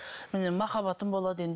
міне махаббатым болады енді